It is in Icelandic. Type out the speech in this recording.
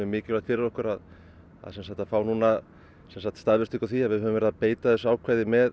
mikilvægt fyrir okkur að fá staðfestingu á því að við höfum verið að beita þessu ákvæði með